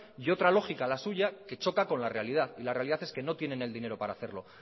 y otra lógica la suya que choca con la realidad y la realidad es que no tienen el dinero para hacerlo